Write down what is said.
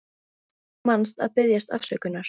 Og þú manst að biðjast afsökunar.